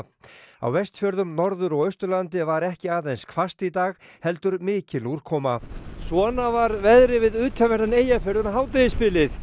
á Vestfjörðum Norður og Austurlandi var ekki aðeins hvasst í dag heldur mikil úrkoma svona var veðrið við utanverðan Eyjafjörð um hádegisbilið